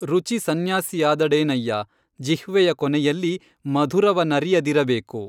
ರುಚಿ ಸಂನ್ಯಾಸಿಯಾದಡೇನಯ್ಯ, ಜಿಹ್ವೆಯ ಕೊನೆಯಲ್ಲಿ ಮಧುರವನರಿಯದಿರಬೇಕು